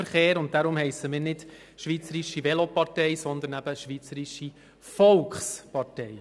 Deshalb heissen wir nicht Schweizerische Velopartei, sondern Schweizerische Volkspartei.